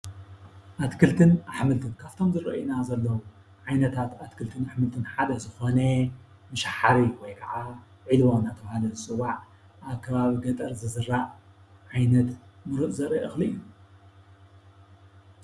አትክልትን አሕምልትን ካብቶም ዝረእዩ ዘለው ዓይነታት አትክልቲ አሕምልትን ሓደ ዝኮነ መሸባሕሪ ወይ ከዓ ዒልቦ እናተባህለ ዝፅዋዕ አብ ከባቢ ገጠር ዝዝራእ ዓይነት ሙሩፅ ዘሪኢ እክሊ እዩ፡፡